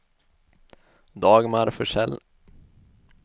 Dagmar Forsell